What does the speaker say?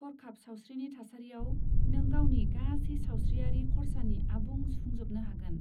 हरखाब सावस्रिनि थासारियाव, नों गावनि गासै सावस्रियारि खरसानि आबुं सुफुंजोबनो हागोन।